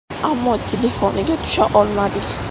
Ammo telefoniga tusha olmadik.